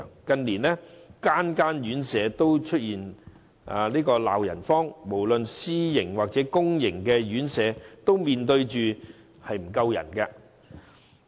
近年，各院舍均鬧"人荒"，無論私營或公營院舍均面對人手不足的問題。